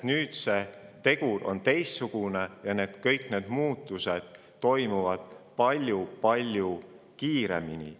Nüüd on tegur ja kliimamuutused toimuvad palju-palju kiiremini.